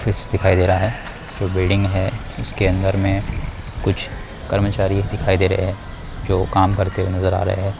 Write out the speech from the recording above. दृश्य दिखाई दे रहा हैं बिल्डिंग दिखाई दे रहा है इसके अंदर में कुछ कर्मचारी दिखाई दे रहे हैं जो काम करते हुए नज़र आ रहे हैं।